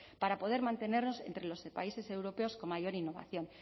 para poder mantenernos entre los países europeos con mayor innovación